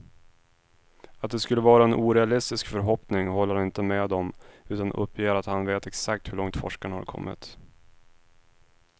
Att det skulle vara en orealistisk förhoppning håller han inte med om, utan uppger att han vet exakt hur långt forskarna har kommit.